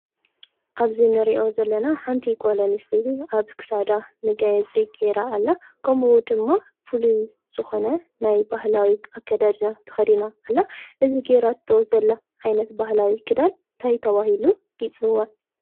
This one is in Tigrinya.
ኣብዜ ነርኦ ዘለና ሓንቲ ጐሎን ስጢቲ ኣብክሳዳ ምጋየጺ ገይራ ኣላ ቆምቡ ድማ ፍሉይ ጽኾነ ናይ ባህላዊ ኣከዳድና ተኸዲና ኣላ እዝ ገይራ እቶ ዘላ ኃይነት ባህላዊ ክዳል ታይ ተዋሂሉ ይጽዋዕ?